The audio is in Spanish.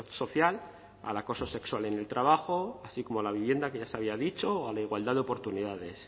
social al acoso sexual en el trabajo así como a la vivienda que ya se había dicho o a la igualdad de oportunidades